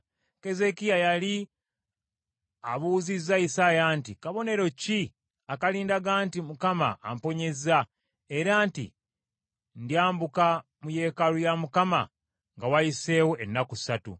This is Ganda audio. Keezeekiya yali abuuzizza Isaaya nti, “Kabonero ki akalindaga nti Mukama amponyezza, era nti ndyambuka mu yeekaalu ya Mukama nga wayiseewo ennaku ssatu?”